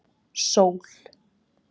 Sól